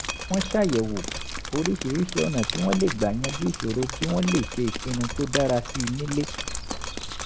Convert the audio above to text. wọ́n ṣàyẹ̀wò oríṣiríṣi ọ̀nà tí wọ́n lè gbà yanjú ìṣòro kí wọ́n lè ṣe ìpinnu tó dára sí i nílé